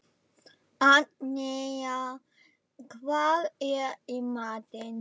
Agnea, hvað er í matinn?